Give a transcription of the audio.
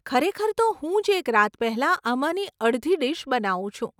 ખરેખર તો હું જ એક રાત પહેલાં આમાંની અડધી ડીશ બનાવું છું.